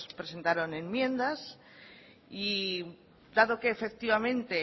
presentaron enmiendas y dado que efectivamente